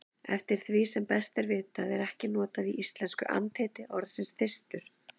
Eftir því sem best er vitað er ekki notað í íslensku andheiti orðsins þyrstur.